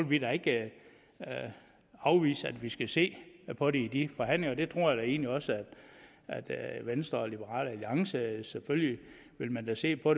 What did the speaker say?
vi da ikke afvise at vi skal se på det i de forhandlinger det tror jeg da egentlig også at venstre og liberal alliance selvfølgelig vil se på